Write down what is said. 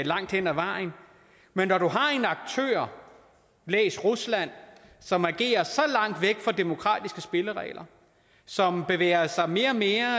langt hen ad vejen men når du har en aktør læs rusland som agerer så langt væk fra demokratiske spilleregler som bevæger sig mere og mere